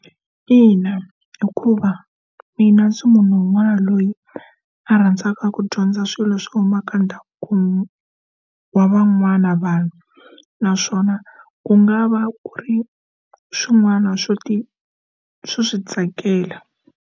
Ina, hikuva mina ndzi munhu un'wana loyi a rhandzaka ku dyondza swilo swo huma ka ndhawu kumbe wa van'wana vanhu naswona ku nga va ku ri swin'wana swo ti swi tsakela.